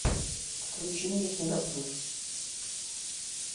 включи мне кино плюс